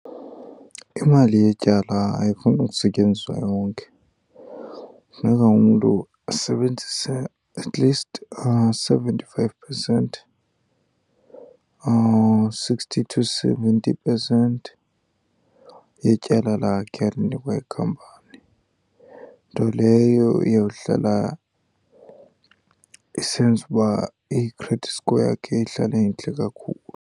Imali yetyala ayifuni ukusetyenziswa yonke. Funeka umntu asebenzise at least seventy five percent or sixty to seventy percent yetyala lakhe alinikwa yikhampani. Nto leyo iyawuhlala isenza uba i-credit score yakhe ihlale intle kakhulu.